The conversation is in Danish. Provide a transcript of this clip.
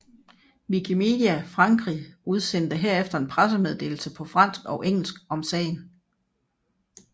Wikimedia Frankrig udsendte herefter en pressemeddelelse på fransk og engelsk om sagen